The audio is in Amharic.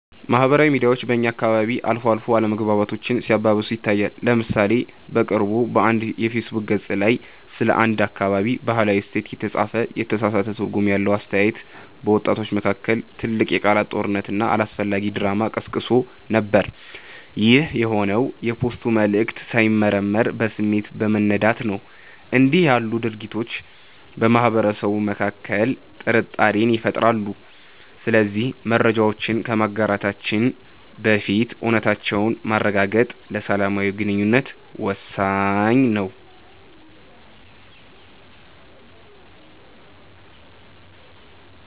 ማህበራዊ ሚዲያ በእኛ አካባቢ አልፎ አልፎ አለመግባባቶችን ሲያባብስ ይታያል። ለምሳሌ በቅርቡ በአንድ የፌስቡክ ገፅ ላይ ስለ አንድ አካባቢ "ባህላዊ እሴት" የተጻፈ የተሳሳተ ትርጉም ያለው አስተያየት፣ በወጣቶች መካከል ትልቅ የቃላት ጦርነትና አላስፈላጊ ድራማ ቀስቅሶ ነበር። ይህ የሆነው የፖስቱ መልዕክት ሳይመረመር በስሜት በመነዳት ነው። እንዲህ ያሉ ድርጊቶች በማህበረሰቡ መካከል ጥርጣሬን ይፈጥራሉ። ስለዚህ መረጃዎችን ከማጋራታችን በፊት እውነታነታቸውን ማረጋገጥ ለሰላማዊ ግንኙነት ወሳኝ ነው።